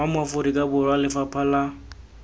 mo aforika borwa lefapha la